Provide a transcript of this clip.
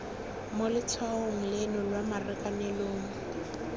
mo letshwaong leno lwa marakanelong